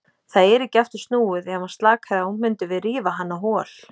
Það er ekki aftur snúið, ef hann slakaði á mundum við rífa hann á hol.